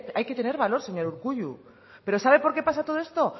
hay que tener valor señor urkullu pero sabe por qué pasa todo esto